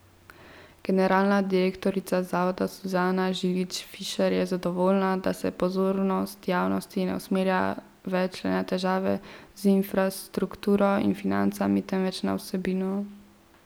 Generalna direktorica zavoda Suzana Žilič Fišer je zadovoljna, da se pozornost javnosti ne usmerja več le na težave z infrastrukturo in financami, temveč na vsebino.